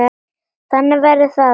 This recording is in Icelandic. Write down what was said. Þannig verður það ekki.